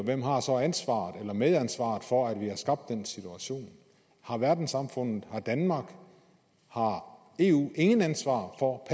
hvem har så ansvaret eller medansvaret for at vi har skabt den situation har verdenssamfundet har danmark har eu intet ansvar for